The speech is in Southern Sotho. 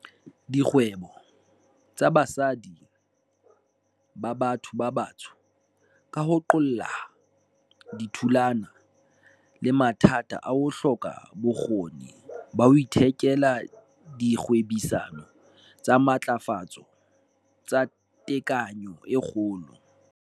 Dikgwebo tsa basadi ba batho ba batsho, ka ho qoolleha, di thulana le mathata a ho hloka bokgoni ba ho iketela dikgwebisano tsa matlafatso tsa tekanyo e kgolo.